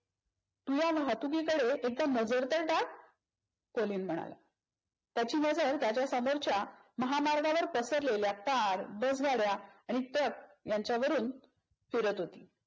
तू या वाहतुकीकडे एकदा नजर तर टाक? कोलिन म्हणाला. त्याची नजर त्याच्या समोरच्या महामार्गावर पसरलेल्या car, बसगाड्या आणि truck यांच्यावरून फिरत होती.